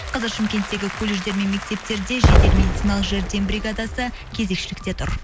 қазір шымкенттегі колледждер мен мектептерде жедел медициналық жәрдем бригадасы кезекшілікте тұр